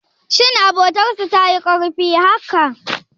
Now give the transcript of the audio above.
Shin abotar su tayi karfi haka?